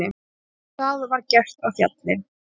Það var gert á Fjalli.